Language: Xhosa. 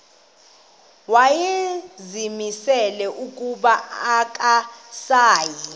wayezimisele ukuba akasayi